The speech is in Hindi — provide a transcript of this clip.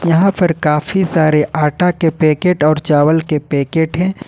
यहां पर काफी सारे आटा के पैकेट और चावल के पैकेट हैं।